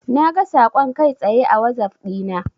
Naga saƙon kai tsaye a wazaf dina.